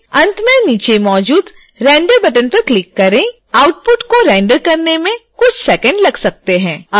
अंत में नीचे मौजूद render बटन पर क्लिक करें आउटपुट को रेंडर करने में कुछ सेकंड लग सकते हैं